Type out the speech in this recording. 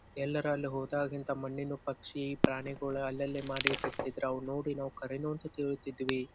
ಎಲ್ಲರೂ ಅಲ್ಲಿ ಹೋದಾಗಿನಿಂದ ಮಣ್ಣಿನ ಪಕ್ಷಿ ಪ್ರಾಣಿಗಳು ಅಲ್ಲಲ್ಲೇ ಮಾಡಿ ಇಟ್ಟಿರ್ತಿದ್ರು ಅವು ನೋಡಿ ಖರೇನ ಅಂತೂ ತಿಳಿತಿದ್ವಿ.